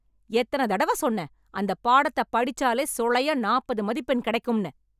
எத்தனை தடவை சொன்னேன் அந்த பாடத்த படிச்சாலே சுளையா நாப்பது மதிப்பெண் கிடைக்கும்னு.